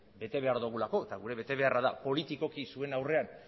bete behar dugulako eta gure betebeharra da politikoki zuen aurrean